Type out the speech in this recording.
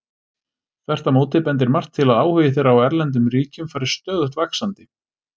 Þvert á móti bendir margt til að áhugi þeirra á erlendum ríkjum fari stöðugt vaxandi.